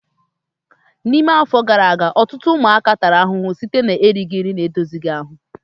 N'ime afọ iri gara aga, ọtụtụ ụmụaka tara ahụhụ site na erighị ihe na-edozi ahụ